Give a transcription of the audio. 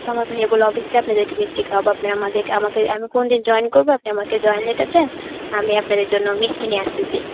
না. তো আমার ভাইয়্যা বলল obviously আপনাদেরকে মিষ্টি খাওয়াবো. আপনারা আমাদেরকে~ আমাকে আমি কোনদিন join করবো. আপনি আমাকে join letter দেন. আমি আপনাদের জন্য মিষ্টি নিয়ে আসতেছি.